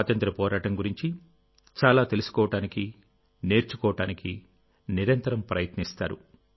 స్వాతంత్ర్య పోరాటం గురించి చాలా తెలుసుకోవడానికి నేర్చుకోవడానికి నిరంతరం ప్రయత్నిస్తారు